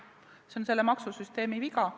See on selle maksusüsteemi viga.